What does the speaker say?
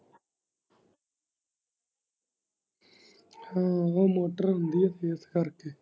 ਆਹੋ ਉਹ ਮੋਟਰ ਹੁੰਦੀ ਆ ਇਸ ਕਰਕੇ।